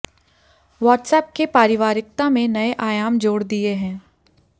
WhatsApp ने पारिवारिकता में नये आयाम जोड़ दिये हैं